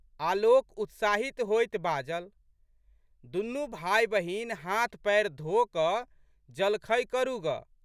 आलोक उत्साहित होइत बाजल। दुनू भाइबहिन हाथपएर धोकऽ जलखै करू गऽ।